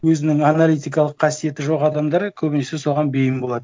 өзінің аналитикалық қасиеті жоқ адамдар көбінесе соған бейім болады